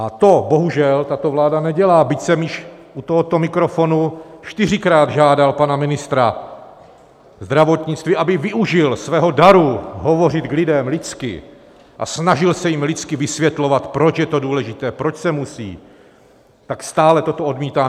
A to bohužel tato vláda nedělá, byť jsem již u tohoto mikrofonu čtyřikrát žádal pana ministra zdravotnictví, aby využil svého daru hovořit k lidem lidsky a snažil se jim lidsky vysvětlovat, proč je to důležité, proč se musí, tak stále toto odmítá.